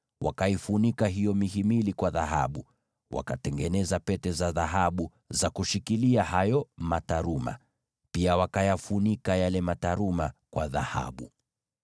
Wakaifunika hiyo mihimili kwa dhahabu, na wakatengeneza pete za dhahabu za kushikilia hayo mataruma. Pia wakayafunika hayo mataruma kwa dhahabu.